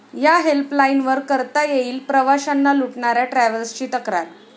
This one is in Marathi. या' हेल्पलाईनवर करता येईल प्रवाशांना लूटणाऱ्या ट्रॅव्हल्सची तक्रार